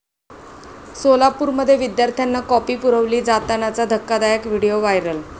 सोलापुरमध्ये विद्यार्थ्यांना कॉपी पुरवली जातानाचा धक्कादायक व्हिडिओ व्हायरल!